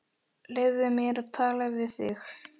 Leyfðu mér að tala við þig!